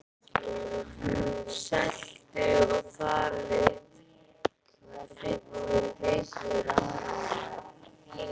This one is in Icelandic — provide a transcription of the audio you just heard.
Seltu- og þaralykt fyllir vit þeirra.